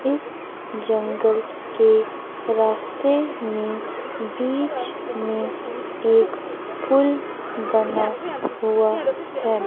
इस जंगल के रास्ते में बीच में एक पूल बना हुआ है।